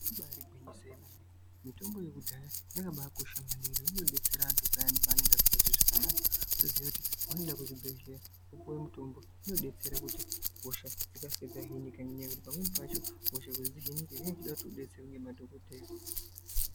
Ribaari gwinyiso remene mitombo yekudhaya yakabakosha maningi inobetsera antu payani paanenge asingazwi zvakanaka. Wotoziya kuti paunoenda kuzvibhendlera wopuwa mutombo. Zvinobetsera kuti hosha dzikasike dzahinike ngenyaya yekuti pamweni pacho hosha kuti dzihinike zvinoda wabatsiirwa ngemadhokodheya.